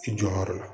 I jɔ yɔrɔ la